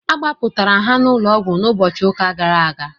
Agbapụrmtara ha n'ụlọọgwụ n'ụbọchị ụka gara aga.